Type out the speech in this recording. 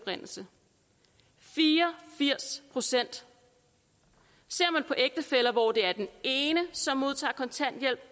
altså fire og firs procent ser man på ægtefæller hvor det er den ene som modtager kontanthjælp